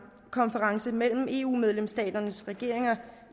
mellem eu medlemsstater